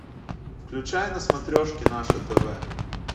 включай на смотрешке наше тв